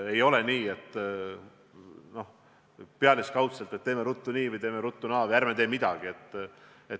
Ei ole nii, et toimitakse pealiskaudselt – et teeme ruttu nii või teeme ruttu naa või ärme teeme midagi.